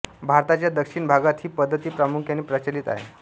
भारताच्या दक्षिण भागात ही पद्धती प्रामुख्याने प्रचलित आहे